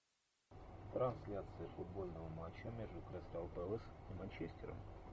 трансляция футбольного матча между кристал пэлас и манчестером